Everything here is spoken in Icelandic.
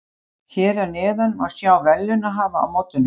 Hér að neðan má sjá verðlaunahafa á mótinu.